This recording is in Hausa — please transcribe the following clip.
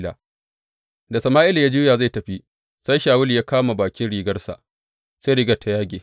Da Sama’ila ya juya zai tafi, sai Shawulu ya kama bakin rigarsa, sai rigar ta yage.